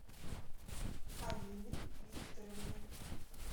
алины викторовны